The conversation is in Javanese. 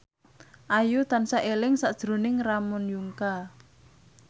Ayu tansah eling sakjroning Ramon Yungka